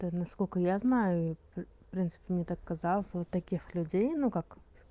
это насколько я знаю в принципе мне так казалось у таких людей ну как